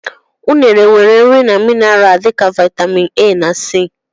Unere nwere nri na minara dị ka viatamịn A na c.